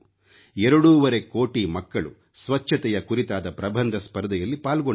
ಎರಡೂವರೆ ಕೋಟಿ ಮಕ್ಕಳು ಸ್ವಚ್ಛತೆಯ ಕುರಿತಾದ ಪ್ರಬಂಧ ಸ್ಪರ್ಧೆಯಲ್ಲಿ ಪಾಲ್ಗೊಂಡರು